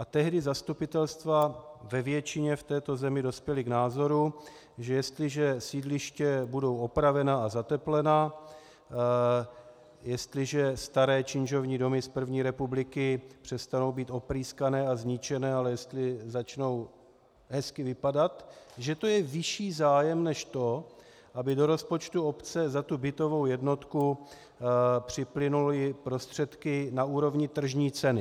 A tehdy zastupitelstva ve většině v této zemi dospěla k názoru, že jestliže sídliště budou opravena a zateplena, jestliže staré činžovní domy z první republiky přestanou být oprýskané a zničené, ale jestli začnou hezky vypadat, že to je vyšší zájem než to, aby do rozpočtu obce za tu bytovou jednotku připlynuly prostředky na úrovni tržní ceny.